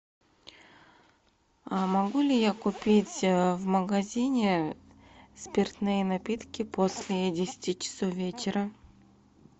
могу ли я купить в магазине спиртные напитки после десяти часов вечера